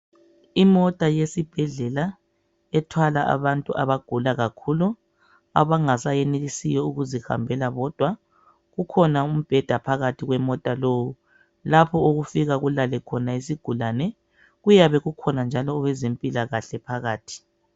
Imota yesibhedlela ethwala abantu abagula kakhulu abangasayenelisiyo ukuzihambela bodwa. Ukhona umbheda phakathi kwemota lo lapho okufika kulale khona isigulane .Kuyabe kukhona njalo abezempilakahle phakathi.